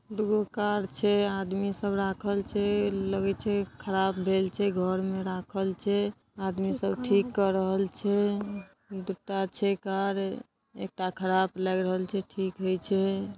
दु गो कार छे आदमी सब राखल छे लगई छे खराब भेल छे घर मे राखल छे आदमी सब ठीक कर रहल छे दुटा छे कार एक टा खराब लग रहल छे ठीक होई छे।